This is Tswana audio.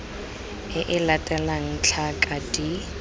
e e latelang tlhaka d